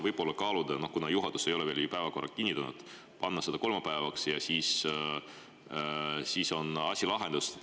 Võib-olla kaaluda, kuna juhatus ei ole veel päevakorda kinnitanud, et panna see neljapäeva asemel kolmapäevaks ja siis on asi lahendatud.